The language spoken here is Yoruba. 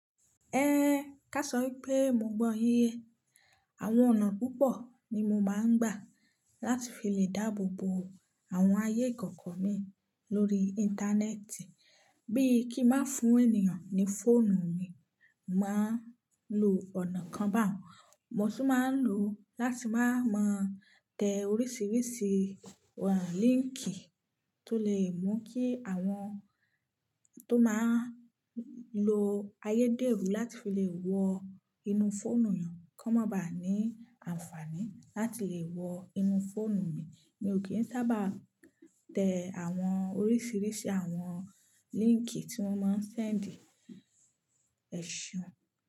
Ehn, ká sọ pé mo gbọ́ yín ye. Àwọn ọ̀nà púpọ̀ ni mo máa ń gbà láti fi lè dáàbò bo àwọn ayé kọ̀ọ̀kọ mi lórí Íńtánẹ́ẹ̀tì. Bí kí má fún ènìyàn ní fóònù mi, màá lo ọ̀nà kan bá hun. Mo sì máa ń lò ó láti máa mọ tẹ oríṣiríṣi líńkì tó lè mú kí àwọn tó máa ń lo ayédèrú láti fi lè wọ inú fóònù ènìyàn kó má ba à ní àǹfààní láti lè wọ inú fóònù mi. Mi ò kí ń sábà tẹ àwọn oríṣiríṣi àwọn líńkì tí wọ́n máa ń sẹ́ǹdì èsùn.